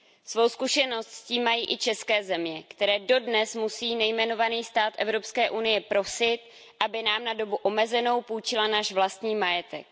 Svou zkušenost s tím mají i české země, které dodnes musí nejmenovaný stát Evropské unie prosit, aby nám na dobu omezenou půjčil náš vlastní majetek.